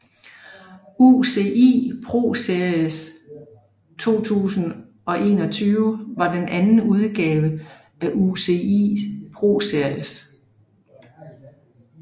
UCI ProSeries 2021 var den anden udgave af UCI ProSeries